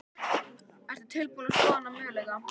Ertu tilbúin að skoða þann möguleika?